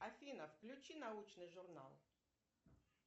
афина включи научный журнал